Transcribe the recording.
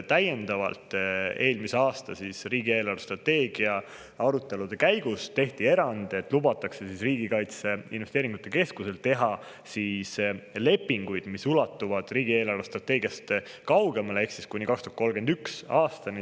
Täiendavalt tehti eelmise aasta riigi eelarvestrateegia arutelude käigus erand, et lubatakse Riigi Kaitseinvesteeringute Keskusel teha lepinguid, mis ulatuvad riigi eelarvestrateegiast kaugemale ehk kuni 2031. aastani.